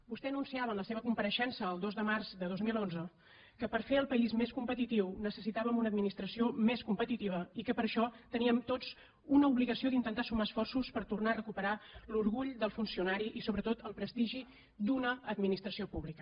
vostè anunciava en la seva compareixença el dos de març de dos mil onze que per fer el país més competitiu necessitàvem una administració més competitiva i que per això teníem tots una obligació d’intentar sumar esforços per tornar a recuperar l’orgull del funcionari i sobretot el prestigi d’una administració pública